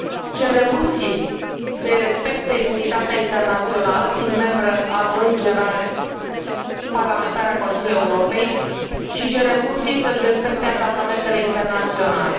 Cerem Rusiei să îi respecte imunitatea internațională, fiind membră a Adunării parlamentare a Consiliului Europei, și cerem Rusiei să își respecte angajamentele internaționale.